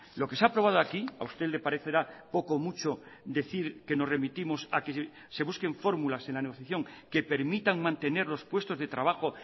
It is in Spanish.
lo que se ha aprobado aquí a usted le parecerá poco o mucho decir que nos remitimos a que se busquen fórmulas en la negociación que permitan mantener los puestos de trabajo